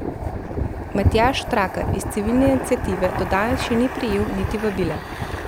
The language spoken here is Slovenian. Matjaž Štarkel iz Civilne iniciative do danes še ni prejel niti vabila.